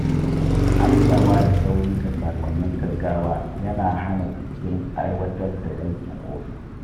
Amsawa da sauri ga saƙonnin gaggawa yana hana jinkirin aiwatar da aikin ofis.